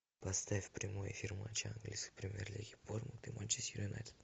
поставь прямой эфир матча английской премьер лиги борнмут и манчестер юнайтед